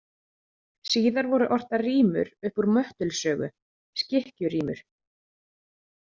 Síðar voru ortar rímur upp úr Möttuls sögu, Skikkju rímur.